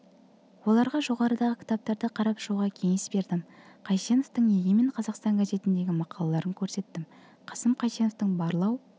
оларға жоғарыдағы кітаптарды қарап шығуға кеңес бердім қайсеновтің егемен қазақстан газетіндегі мақалаларын көрсеттім қасым қайсеновтің барлау